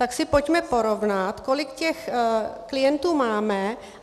Tak si pojďme porovnat, kolik těch klientů máme.